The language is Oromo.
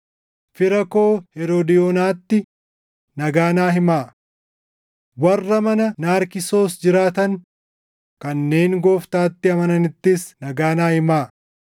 Fira koo Heroodiyoonaatti, nagaa naa himaa. Warra mana Naarkisoos jiraatan kanneen Gooftaatti amananittis nagaa naa himaa.